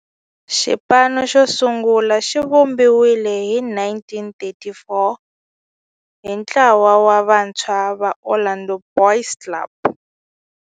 Xipano xosungula xivumbiwile hi 1934 hi ntlawa wa vantshwa va Orlando Boys Club.